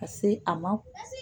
Ka se a ma